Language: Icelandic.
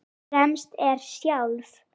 Fremst er sjálf